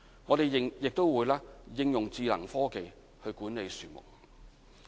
我們亦會應用智能科技去管理樹木。